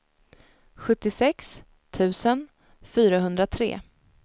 sjuttiosex tusen fyrahundratre